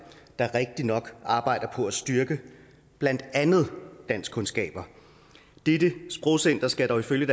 der rigtigt nok arbejder på at styrke blandt andet danskkundskaber dette sprogcenter skal dog ifølge